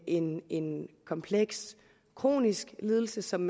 en en kompleks kronisk lidelse som